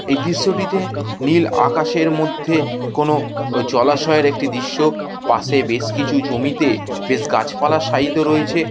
এই দৃশ্যটিতে নীল আকাশের মধ্যে কোনো ও জলাশয়ের একটি দৃশ্য পাশে বেশ কিছু জমিতে বেশ গাছপালা শায়িত রয়েছে।